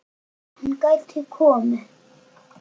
Hann gæti komið